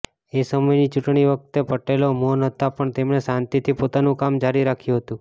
એ સમયની ચૂંટણી વખતે પટેલો મૌન હતા પણ તેમણે શાંતિથી પોતાનું કામ જારી રાખ્યું હતું